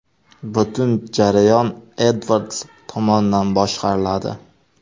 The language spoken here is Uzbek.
Butun jarayon Edvards tomonidan boshqariladi.